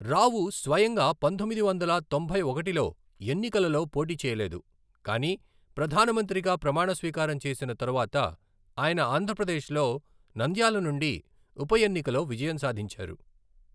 రావు స్వయంగా పంతొమ్మిది వందల తొంభై ఒకటిలో ఎన్నికలలో పోటీ చేయలేదు, కానీ ప్రధానమంత్రిగా ప్రమాణ స్వీకారం చేసిన తరువాత, ఆయన ఆంధ్రప్రదేశ్ లో నంద్యాల నుండి ఉప ఎన్నికలో విజయం సాధించారు.